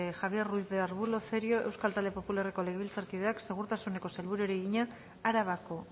javier ruiz de arbulo cerio euskal talde popularreko legebiltzarkideak segurtasuneko sailburuari egina arabako